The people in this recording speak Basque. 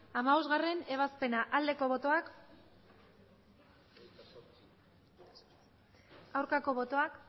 hamabostgarrena ebazpena aldeko botoak aurkako botoak